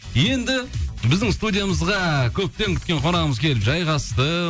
енді біздің студиямызға көптен күткен қонағымыз келіп жайғасты